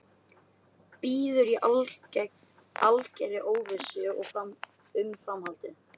Bíður í algerri óvissu um framhaldið.